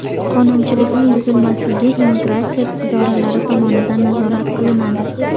Qonunchilikning buzilmasligi immigratsiya idoralari tomonidan nazorat qilinadi.